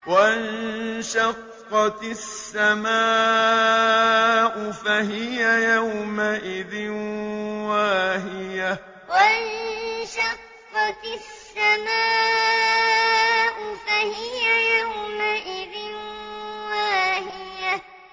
وَانشَقَّتِ السَّمَاءُ فَهِيَ يَوْمَئِذٍ وَاهِيَةٌ وَانشَقَّتِ السَّمَاءُ فَهِيَ يَوْمَئِذٍ وَاهِيَةٌ